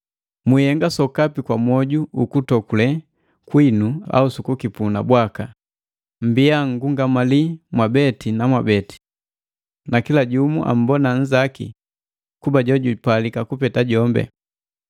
Mwihenga sokapi kwa mwoju uku tokule kwinu au sukukipuna bwaka, mmbiya nngungamali mwabeni na mwabeni, na kila jumu ammbona nnzaki kuba jojupalika kupeta jombi.